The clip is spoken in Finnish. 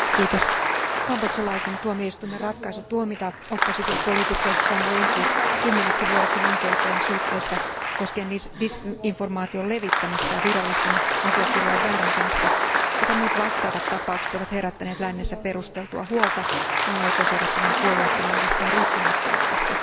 Arvoisa puhemies, kambodžalaisen tuomioistuimen ratkaisu tuomita oppositiopoliitikko Sam Rainsy 10 vuodeksi vankeuteen syytteistä, jotka koskevat disinformaation levittämistä ja virallisten asiakirjojen väärentämistä, sekä muut vastaavat tapaukset ovat herättäneet lännessä perusteltua huolta maan oikeusjärjestelmän puolueettomuudesta ja riippumattomuudesta.